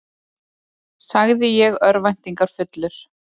sagði ég örvæntingarfullur.